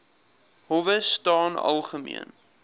howe staan algemeen